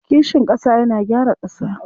Kishin ƙasa yana gyara ƙasa.